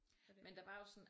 Men der var jo sådan